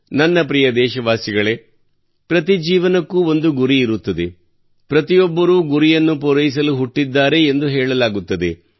ನನ್ನ ಪ್ರಿಯ ದೇಶವಾಸಿಗಳೇ ಪ್ರತಿ ಜೀವನಕ್ಕೂ ಒಂದು ಗುರಿ ಇರುತ್ತದೆ ಪ್ರತಿಯೊಬ್ಬರೂ ಗುರಿಯನ್ನು ಪೂರೈಸಲು ಹುಟ್ಟಿದ್ದಾರೆ ಎಂದು ಹೇಳಲಾಗುತ್ತದೆ